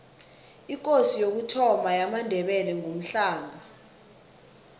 ikosi yokuthoma yamandebele ngumhlanga